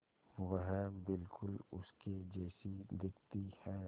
वह बिल्कुल उसके जैसी दिखती है